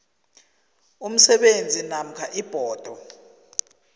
umsebenzi namkha ibhodo